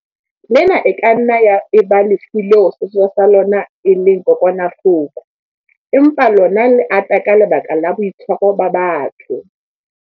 Lena e ka nna ya eba lefu leo sesosa sa lona e leng kokwanahloko, empa lona le ata ka lebaka la boitshwaro ba batho.